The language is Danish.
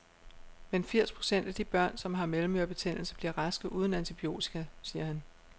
Men firs procent af de børn, som har mellemørebetændelse, bliver raske uden antibiotika, siger han.